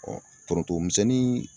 foronto misɛnni